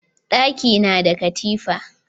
Ɗaki na da katifa